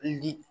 Li